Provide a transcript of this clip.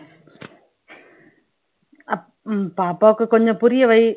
அப் உம் பாப்பாவுக்கு கொஞ்சம் புரியவை